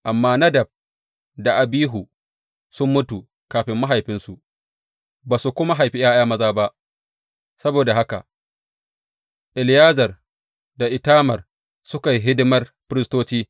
Amma Nadab da Abihu sun mutu kafin mahaifinsu, ba su kuma haifi ’ya’ya maza ba; saboda haka Eleyazar da Itamar suka yi hidimar firistoci.